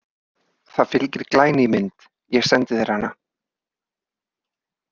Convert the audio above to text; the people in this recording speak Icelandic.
Það fylgir glæný mynd, ég sendi þér hana.